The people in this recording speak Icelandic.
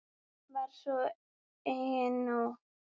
Var svo einnig nú.